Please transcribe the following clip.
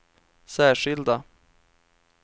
särskilda